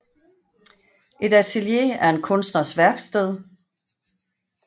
Et atelier er en kunstners værksted